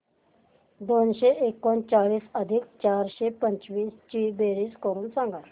दोनशे एकोणचाळीस अधिक चारशे पंचवीस ची बेरीज करून सांगा